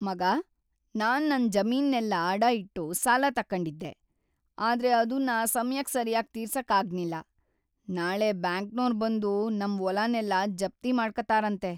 ಮಗಾ, ನಾನ್ ನನ್ ಜಮೀನ್ನೆಲ್ಲ ಅಡ ಇಟ್ಟು ಸಾಲ ತಕಂಡಿದ್ದೆ.. ಆದ್ರೆ ಅದುನ್ನ ಸಮಯಕ್‌ ಸರ್ಯಾಗ್‌ ತೀರ್ಸಕ್‌ ಆಗ್ನಿಲ್ಲ. ನಾಳೆ ಬ್ಯಾಂಕ್ನೋರ್ ಬಂದು ನಮ್ ವೊಲನೆಲ್ಲ ಜಪ್ತಿ ಮಾಡ್ಕತಾರಂತೆ.